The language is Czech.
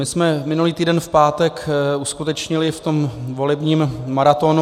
My jsme minulý týden v pátek uskutečnili v tom volebním maratonu...